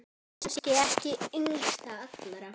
Kannski ekki yngst allra.